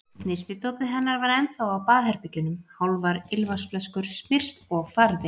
Snyrtidótið hennar var ennþá á baðherbergjunum, hálfar ilmvatnsflöskur, smyrsl og farði.